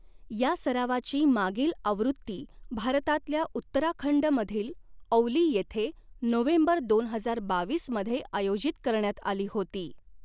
या सरावाची मागील आवृत्ती भारतातल्या उत्तराखंड मधील औली येथे नोव्हेंबर दोन हजार बावीस मध्ये आयोजित करण्यात आली होती.